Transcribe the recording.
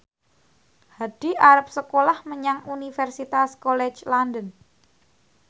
Hadi arep sekolah menyang Universitas College London